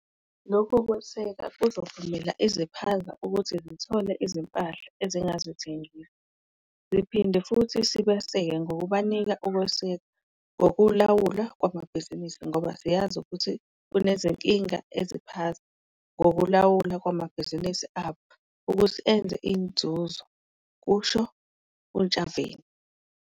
Lokhu kwesekwa kuzovumela iziphaza ukuthi zithole izimpahla ezingazithengisa. "Siphinde futhi sibaseke ngokubanika ukwesekwa ngokulawulwa kwamabhizinisi ngoba siyazi ukuthi kunezinkinga eziphaza ngokulawulwa kwamabhizinisi abo ukuthi enze inzuzo," kusho uNtshavheni.